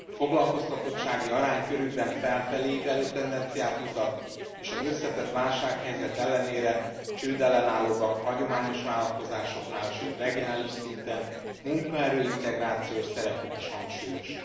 A foglalkoztatottsági arány körükben felfelé ívelő tendenciát mutat, és az összetett válsághelyzet ellenére csődellenállóbbak a hagyományos vállalatoknál, sőt regionális szinten munkaerő integrációs szerepük is hangsúlyos.